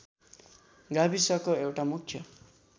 गाविसको एउटा मुख्य